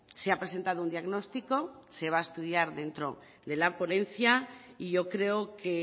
se ha presentado un diagnóstico se va a estudiar dentro de la ponencia y yo creo que